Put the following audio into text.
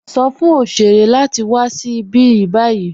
Sọ̀ fún oṣèrè láti wà sí ibi ní báyì.